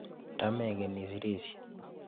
Nda mengen isirishe.